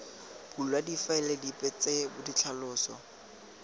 bulwa difaele dipe tsa ditlhaloso